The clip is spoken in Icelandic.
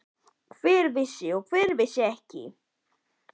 Hver vissi og hver vissi ekki?